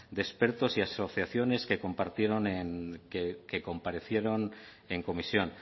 de expertos y asociaciones que compartieron en que comparecieron en comisión